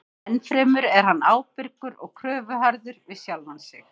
Ennfremur er hann ábyrgur og kröfuharður við sjálfan sig.